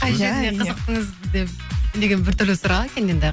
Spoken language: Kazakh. қай жеріне қызықтыңыз деген біртүрлі сұрақ екен енді